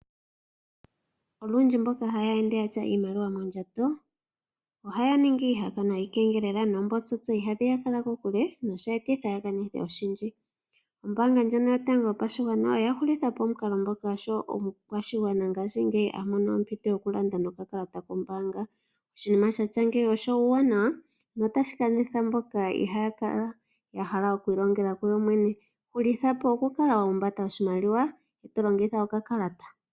Olundji mboka haya ende yatya iimaliwa moondjato ohaya ningi iiha kanwa yikengelela noombotsotso iha dhiya kala kokule noshe etitha yakanithe oshindji . Oombanga ndjono yatango yopashigwana oya hulitha po omukalo ngoka oshowo omukwashigwana ngaashi ngeyi amono ompito yoku landa nokakalata kombaanga. Oshinima shatya ngeyi osho owu wanawa notashi kanitha mboka ihaa kala yahala okwii longela kuyo yemwe ne. Hulitha po oku kala wahumbata oshimaliwa talongitha oka kalata .